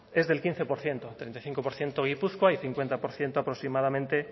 es del quince por ciento el treinta y cinco por ciento gipuzkoa y el cincuenta por ciento aproximadamente